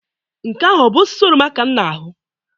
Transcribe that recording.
Nke ahụ bụ osisi oroma ka m na-ahụ?